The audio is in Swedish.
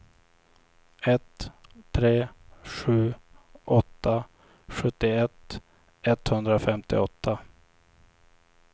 ett tre sju åtta sjuttioett etthundrafemtioåtta